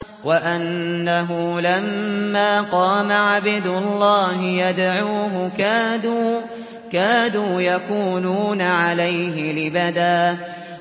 وَأَنَّهُ لَمَّا قَامَ عَبْدُ اللَّهِ يَدْعُوهُ كَادُوا يَكُونُونَ عَلَيْهِ لِبَدًا